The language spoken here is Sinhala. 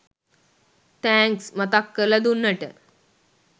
තැන්ක්ස් මතක් කරලා දුන්නට